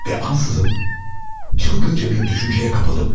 Və ansızın çılgınca bir düşüncəyə qapıldım.